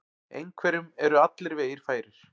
Einhverjum eru allir vegir færir